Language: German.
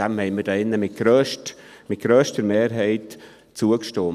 Dem stimmten wir hier drin mit grösster Mehrheit zu.